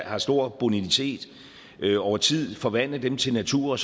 har stor bonitet over tid og forvandle dem til natur